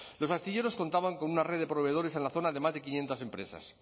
los astilleros contaban con una red de proveedores en la zona de más de quinientos empresas